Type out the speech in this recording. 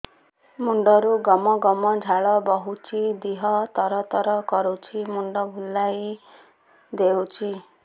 ମୁଣ୍ଡରୁ ଗମ ଗମ ଝାଳ ବହୁଛି ଦିହ ତର ତର କରୁଛି ମୁଣ୍ଡ ବୁଲାଇ ଦେଉଛି